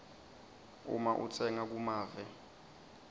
uma utsenga kumave